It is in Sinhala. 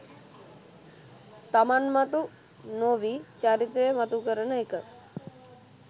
තමන් මතු නොවී චරිතය මතු කරන එක